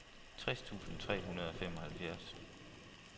tres tusind tre hundrede og femoghalvfjerds